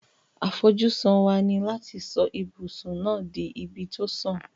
Àfojúsùn wa ni láti so ibùsùn náà to ibi to sùn